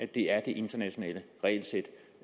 det er det internationale regelsæt